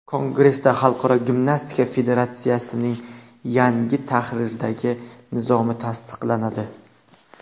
Kongressda Xalqaro gimnastika federatsiyasining yangi tahrirdagi nizomi tasdiqlanadi.